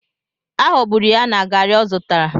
Aghọgburu ya na garri o zutara.